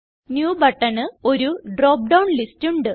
new ബട്ടണിന് ഒരു drop down list ഉണ്ട്